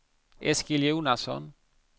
Eskil Jonasson